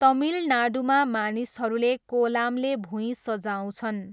तमिलनाडुमा मानिसहरूले कोलामले भुइँ सजाउँछन्।